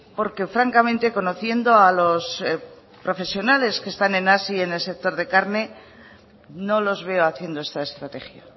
porque francamente conociendo a los profesiones que están en hazi en el sector de carne no los veo haciendo esta estrategia